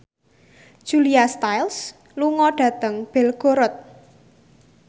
Julia Stiles lunga dhateng Belgorod